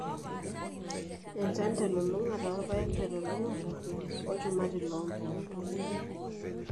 Enchan telulung'ata o rpayek telulung'ata o lchumati loo mpoosho.